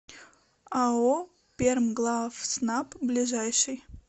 ао пермглавснаб ближайший